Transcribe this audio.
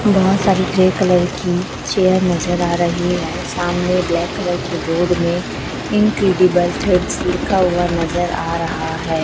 बहोत सारी grey colour की चेयर नजर आ रही है सामने ब्लैक कलर की बोर्ड में इनक्रेडिबल थ्रीडस लिखा हुआ नजर आ रहा है।